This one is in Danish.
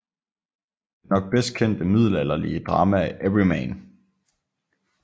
Det nok bedst kendte middelalderlige drama er Everyman